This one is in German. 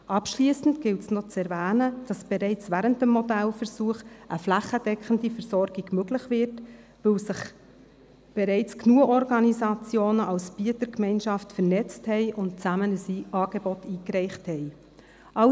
Abschliessend gilt es, noch zu erwähnen, dass bereits während des Modellversuchs eine flächendeckende Versorgung ermöglicht wird, weil sich bereits genügend Organisationen als Bietergemeinschaft vernetzt und gemeinsam ein Angebot eingereicht haben.